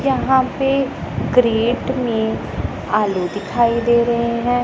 यहां पे क्रेट में आलू दिखाई दे रहे है।